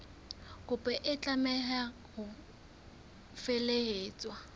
kopo e tlameha ho felehetswa